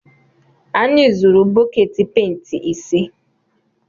Anyị zụrụ bọket penti ise.